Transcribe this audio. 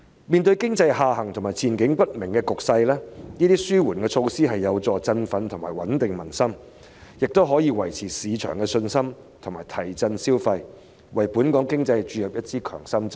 面對經濟下行及前景不明的局勢，這些紓緩措施將有助振奮及穩定民心，亦可維持市場信心及提振消費，為本港經濟注入一支強心針。